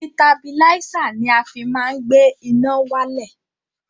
Sitabilísà ni a fi má ń gbé iná wálẹ̀.